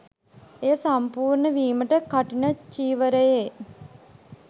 එය සම්පූර්ණ වීමට කඨින චිවරයේ